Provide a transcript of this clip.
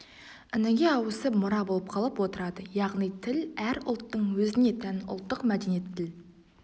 ініге ауысып мұра болып қалып отырады яғни тіл әр ұлттың өзіне тән ұлттық мәдениет тіл